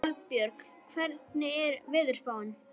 Kolbjörg, hvernig er veðurspáin?